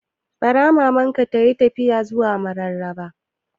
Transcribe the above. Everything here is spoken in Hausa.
Bara Maman ka tayi tafiya zuwa Mararaba